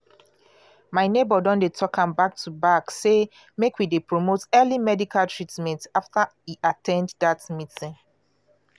my neighbor don dey talk am back to back say make we dey promote early medical treatment after e at ten d dat meeting.